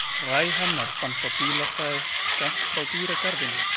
Hræ hennar fannst á bílastæði skammt frá dýragarðinum.